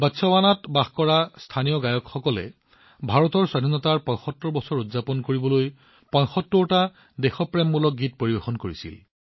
বটচৱানাত স্থানীয় গায়কসকলে ভাৰতৰ স্বাধীনতাৰ ৭৫ বছৰ উদযাপন কৰিবলৈ ৭৫টা দেশপ্ৰেমমূলক গান গাইছিল